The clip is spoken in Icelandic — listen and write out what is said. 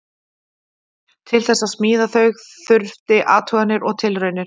Til þess að smíða þau þurfti athuganir og tilraunir.